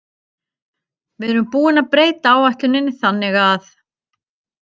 Við erum búin að breyta áætluninni þannig að.